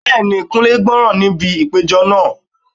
Bẹ́ẹ̀ni, Kunle gbọ́ràn níbi ìpéjọ náà.